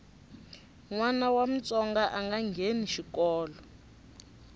nwana wa mutsonga anga ngheni xikolo